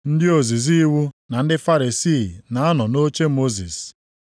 “Ndị ozizi iwu na ndị Farisii na-anọ nʼoche Mosis.